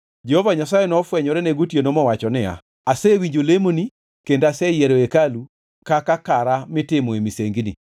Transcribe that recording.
Jehova Nyasaye nofwenyorene gotieno mowacho niya, “Asewinjo lemoni kendo aseyiero hekalu ka kaka kara mitimoe misengini.